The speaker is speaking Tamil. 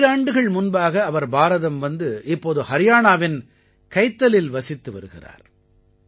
ஈராண்டுகள் முன்பாக அவர் பாரதம் வந்து இப்போது ஹரியாணாவின் கைத்தலில் வசித்து வருகிறார்